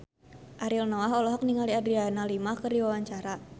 Ariel Noah olohok ningali Adriana Lima keur diwawancara